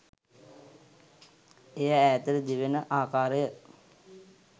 එය ඈතට දිවෙන ආකාරය